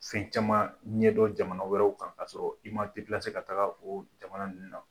Fɛn caman ɲɛ dɔ jamana wɛrɛw kan ka' sɔrɔ i m ma tɛilase ka taga o jamana ninnu na